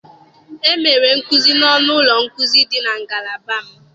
E mere nkuzi n'ọnụ ụlọ nkuzi dị na ngalaba m.